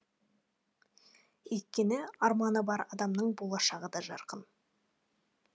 өйткені арманы бар адамның болашағы да жарқын